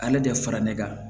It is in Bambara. Ale tɛ fara ne kan